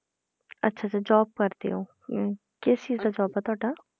ਅੱਛਾ ਅੱਛਾ job ਕਰਦੇ ਹੋ ਹਮ ਕਿਸ ਚੀਜ਼ ਦਾ job ਹੈ ਤੁਹਾਡਾ?